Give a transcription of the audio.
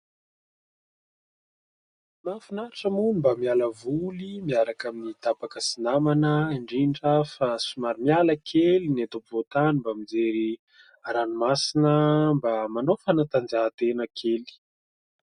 Mahafinaritra moa no mba miala voly miaraka amin'ny tapaka sy namana indrindra fa somary miala kely ny eto ampovoan-tany mba mijery ranomasina, mba manao fanantanjahan-tena kely.